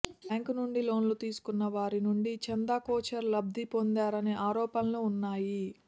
bank నుంచి లోన్లు తీసుకున్న వారి నుంచి చందాకొచ్చార్ లబ్ధి పొందారనే ఆరోపణలు ఉన్నాయి